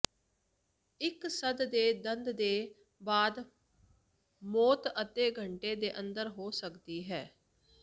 ਇੱਕ ਸੱਪ ਦੇ ਦੰਦ ਦੇ ਬਾਅਦ ਮੌਤ ਅੱਧੇ ਘੰਟੇ ਦੇ ਅੰਦਰ ਹੋ ਸਕਦੀ ਹੈ